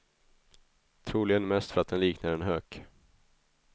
Troligen mest för att den liknar en hök.